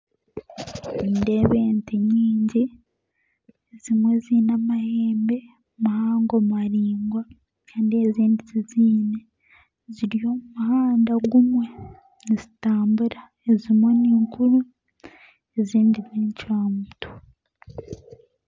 Nindeeba ente nyingi ezimwe zine amahembe mahango maringwa Kandi ezindi tizine ziri omu muhada gumwe nizitambura ezimwe ninkuru ezindi n'encwamutwe.